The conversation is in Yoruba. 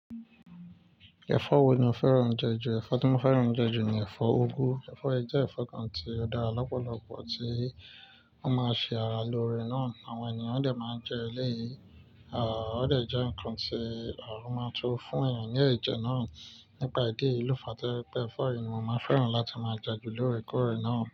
Ẹ̀fọ́ wo ni o fẹ́ràn jẹ jù? Ẹ̀fọ́ tí mo fẹ́ràn jẹ jù ni ẹ̀fọ́ úgú. Ẹ̀fọ́ ẹ jẹ́ ẹ̀fọ́ kan tí ó dára lọ́pọ̀lọpọ̀ tí wọ́n máa ń ṣe ara lóore náà. Àwọn ènìyàn dẹ̀ máa ń jẹ ẹ́ léyìn, ò ó dẹ̀ jẹ́ ǹkan tí a máa tó fún èèyàn ní ẹ̀jẹ̀ náà. Nípa ìdí yìí, lo fàá to ye pe efọ́ yiì, mo máa fẹ́ràn láti máa jẹ jù lóore kóòrè náà.